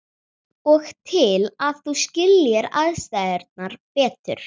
Og til að þú skiljir aðstæðurnar betur.